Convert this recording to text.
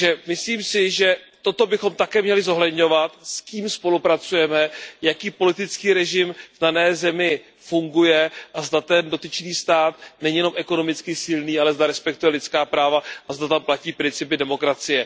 Myslím si, že bychom také měli zohledňovat, s kým spolupracujeme, jaký politický režim v dané zemi funguje a zda ten dotyčný stát není jenom ekonomicky silný, ale zda respektuje lidská práva a zda tam platí principy demokracie.